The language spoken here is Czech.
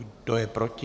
Kdo je proti?